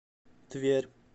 тверь